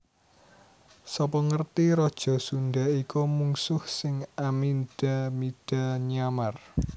Sapa ngerti raja Sundha iku mungsuh sing amindha mindha nyamar